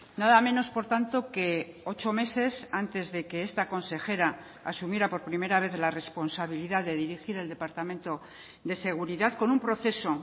nada menos por tanto que ocho meses antes de que esta consejera asumiera por primera vez la responsabilidad de dirigir el departamento de seguridad con un proceso